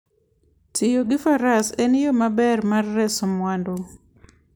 Tiyo gi faras en yo maber mar reso mwandu